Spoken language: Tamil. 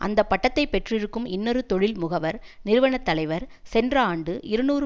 அந்தப்பட்டத்தை பெற்றிருக்கும் இன்னொரு தொழில் முகவர் நிறுவனத்தலைவர் சென்ற ஆண்டு இருநூறு